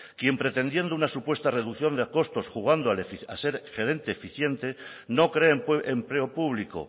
quien pretendiendo una supuesta reducción de costos jugando a ser gerente eficiente no creen empleo público